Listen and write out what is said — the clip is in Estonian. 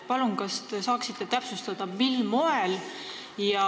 Palun, kas te saaksite täpsustada, mil moel?